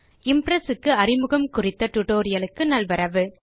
Impress அறிமுகம் tutorial க்கு நல்வரவு